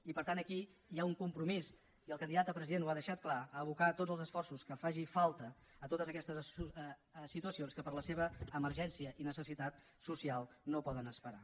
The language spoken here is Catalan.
i per tant aquí hi ha un compromís i el candidat a president ho ha deixat clar d’abocar tots els esforços que facin falta a totes aquestes situacions que per la seva emergència i necessitat social no poden esperar